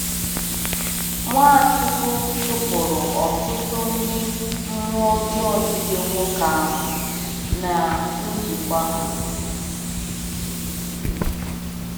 Nwachukwu chụpụrụ ọtụtụ ndị mmụọ ọjọọ jide nwoke ahụ na njikwa ha.